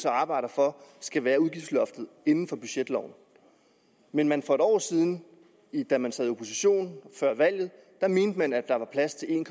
arbejder for skal være udgiftsloftet inden for budgetloven men for et år siden da man sad i opposition før valget mente man at der var plads til en